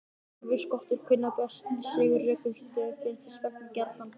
Silfurskottur kunna best við sig á rökum stöðum og finnast þess vegna gjarnan á baðherbergjum.